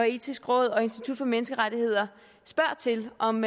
etiske råd og institut for menneskerettigheder spørger til om